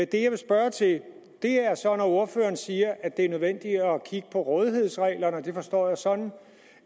det jeg vil spørge til er det ordføreren siger at det er nødvendigt at kigge på rådighedsreglerne det forstår jeg sådan